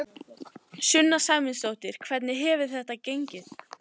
Sunna Sæmundsdóttir: Hvernig hefur þetta gengið?